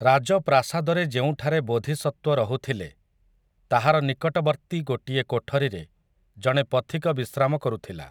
ରାଜପ୍ରାସାଦରେ ଯେଉଁଠାରେ ବୋଧିସତ୍ୱ ରହୁଥିଲେ, ତାହାର ନିକଟବର୍ତ୍ତୀ ଗୋଟିଏ କୋଠରିରେ ଜଣେ ପଥିକ ବିଶ୍ରାମ କରୁଥିଲା ।